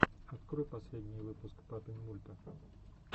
открой последний выпуск папинмульта